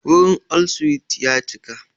Wurin all suites ya cika.